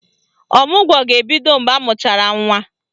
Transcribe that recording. Ọmụgwọ ga-ebido mgbe amụchara nwa.